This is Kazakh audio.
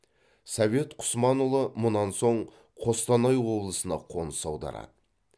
совет құсманұлы мұнан соң қостанай облысына қоныс аударады